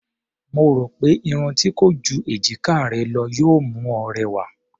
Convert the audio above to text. Mo rò pé irun tí kò ju èjiká rẹ lọ yóò mú ọ rẹwà.